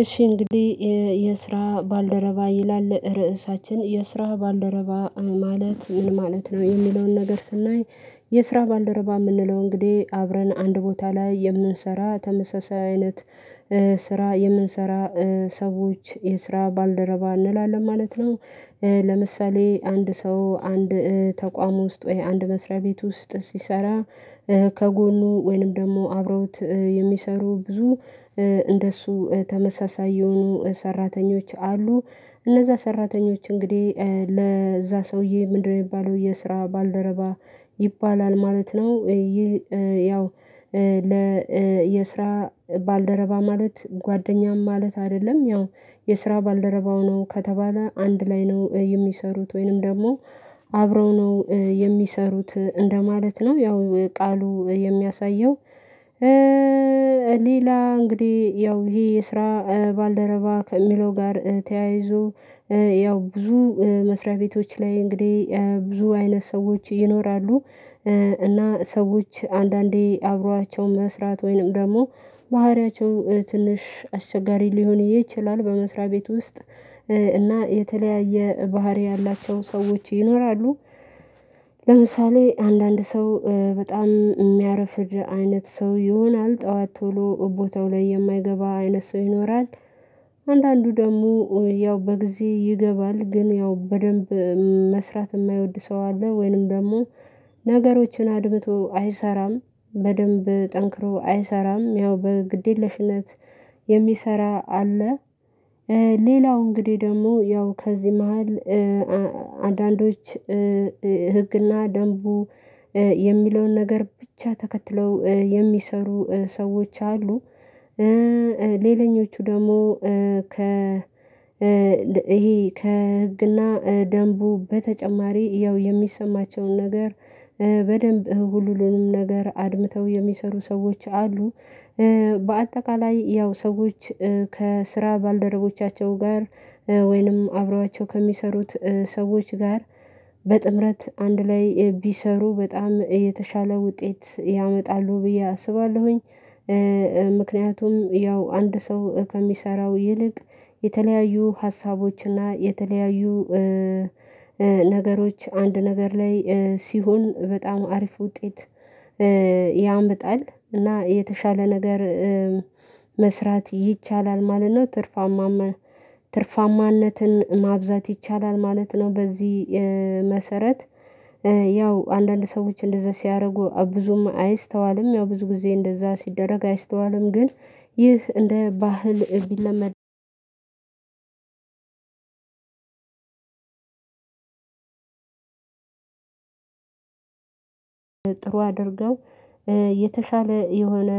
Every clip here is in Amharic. እሺ እንግዲህ የስራ ባልደረባ ይላል እርዕሳችን የስራ ባልደረባ ማለት ምን ማለት ነው የሚለውን ነገር ስናይ የስራ ባልደረባ ምንለው እንግዲህ አብረን አንድ ቦታ ላይ የምንሰራ ተመሳሳይ አይነት ስራ የምንሰራ ሰዎች የስራ ባልደረባ እንላለን ማለት ነው። ለምሳሌ አንድ ሰው አንድ ተቋም ውስጥ ወይ አንድ መስሪያ ቤት ውስጥ ሲሰራ ከጎኑ ወይንም ደግሞ አብረውት የሚሰሩ ብዙ እንደሱ ተመሳሳይ የሆኑ ሰራተኞች አሉ እነዛ ሰራተኞች እንግዲህ ለዛ ሰውዬ ምንድነው ሚባለው የስራ ባልደረባ ይባላል ማለት ነው። ይህ ያው ለ የስራ ባልደረባ ማለት ጓደኛም ማለት አይደለም ያው የስራ ባልደረባው ነው ከተባለ አንድ ላይ ነው የሚሰሩት ወይንም ደግሞ አብረው ነው የሚሰሩት እንደማለት ነው ያው ቃሉ የሚያሳየው። ሌላ እንግዲህ ያው ይሄ የስራ ባልደረባ ከሚለው ጋር ተያይዞ ያው ብዙ መስሪያ ቤቶች ላይ እንግዲህ ብዙ አይነት ሰዎች ይኖራሉ። እና ሰዎች አንዳንዴ አብሯቸው መስራት ወይንም ደግሞ ባህሪያቸው ትንሽ አስቸጋሪ ሊሆን ይችላል በመስሪያ ቤት ውስጥ እና የተለያየ ባህሪ ያላቸው ሰዎች ይኖራሉ። ለምሳሌ አንዳንድ ሰው በጣም እሚያረፍድ አይነት ሰው ይሆናል ጠዋት ቶሎ ቦታው ላይ የማይገባ አይነት ሰው ይኖራል። አንዳንዱ ደግሞ ያው በጊዜ ይገባል ግን ያው በደንብ መስራት እማይወድ ሰው አለ ወይንም ደግሞ ነገሮችን አድብቶ አይሰራም በደንብ ጠንክሮ አይሰራም ያው በግዴለሽነት የሚሰራ አለ። ሌላው እንግዲህ ደግሞ ያው ከዚህ መሃል አንዳንዶች ህግና ደንቡ የሚለውን ነገር ብቻ ተከትለው የሚሰሩ ሰዎች አሉ። ሌለኞቹ ደግሞ ከ ይሄ ከህግና ደንቡ በተጨማሪ ያው የሚሰማቸውን ነገር በደንብ ሁሉንም ነገር አድምተው የሚሰሩ ሰዎች አሉ። በአጠቃላይ ያው ሰዎች ከስራ ባልደረቦቻቸው ጋር ወይንም አብረዋቸው ከሚሰሩት ሰዎች ጋር በጥምረት አንድ ላይ ቢሰሩ በጣም የተሻለ ውጤት ያመጣሉ ብዬ አስባለሁኝ። ምክንያቱም ያው አንድ ሰው ከሚሰራው ይልቅ የተለያዩ ሀሳቦች እና የተለያዩ ነገሮች አንድ ነገር ላይ ሲሆን በጣም አሪፍ ውጤት ያመጣል እና የተሻለ ነገር መስራት ይቻላል ማለት ነው። ትርፋማ ትርፋማነትን ማብዛት ይቻላል ማለት ነው። በዚህ መሰረት ያው አንዳንድ ሰዎች እንደዛ ሲያደርጉ ብዙም አይስተዋልም ያው ብዙ ጊዜ እንደዛ ሲደረግ አይስተዋልም ግን ይህ እንደ ባህል ቢለመድ ጥሩ አድርገው የተሻለ የሆነ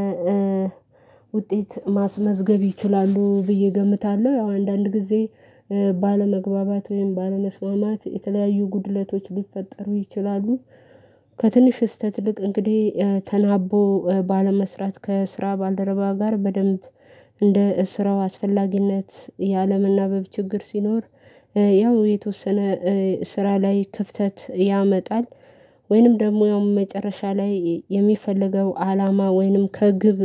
ውጤት ማስመዝገብ ይችላሉ ብዬ እገምታለሁ። ያው አንዳንድ ጊዜ ባለመግባባት ወይም ባለመስማማት የተለያዩ ጉድለቶች ሊፈጠሩ ይችላሉ። ከትንሽ ስህተት ይልቅ እንግዲህ ተናቦ ባለመስራት ከስራ ባልደረባ ጋር በደንብ እንደ ስራው አስፈላጊነት የአለምናበብ ችግር ሲኖር ያው የተወሰነ ስራ ላይ ክፍተት ያመጣል ወይንም ደግሞ ያውም መጨረሻ ላይ የሚፈልገው አላማ ወይንም ከግብ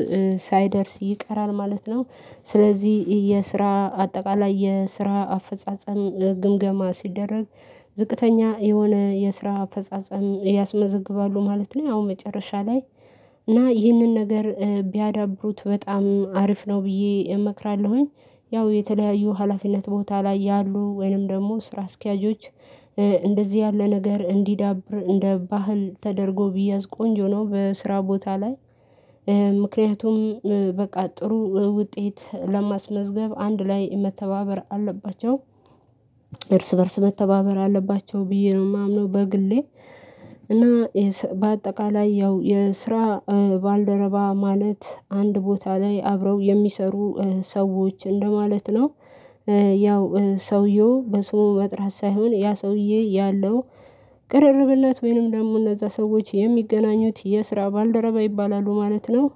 ሳይደርስ ይቀራል ማለት ነው። ስለዚህ የስራ አጠቃላይ የስራ አፈጻጸም ግምገማ ሲደረግ ዝቅተኛ የሆነ የስራ አፈጻጸም ያስመዘግባሉ ማለት ነው። ያው መጨረሻ ላይ እና ይህንን ነገር ቢያዳብሩት በጣም አሪፍ ነው ብዬ እመክራለሁኝ። ያው የተለያዩ ሀላፊነት ቦታ ላይ ያሉ ወይንም ደግሞ ስራ አስኪያጆች እንደዚህ ያለ ነገር እንዲዳብር እንደ ባህል ተደርጎ ቢያዝ ቆንጆ ነው በስራ ቦታ ላይ ምክንያቱም በቃ ጥሩ ውጤት ለማስመዝገብ አንድ ላይ መተባበር አለባቸው። እርስ በእርስ መተባበር አለባቸው ብዬ ነው ማምነው በግሌ። እና በአጠቃላይ ያው የስራ ባልደረባ ማለት አንድ ቦታ ላይ አብረው የሚሰሩ ሰዎች እንደማለት ነው። ያው ሰውየው በስሙ መጥራት ሳይሆን ያ ሰውዬ ያለው ቅርርብለት ወይንም ደግሞ እነዛ ሰዎች የሚገናኙት የስራ ባልደረባ ይባላሉ ማለት ነው።